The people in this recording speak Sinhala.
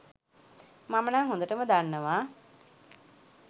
මම නං හොඳටම දන්නවා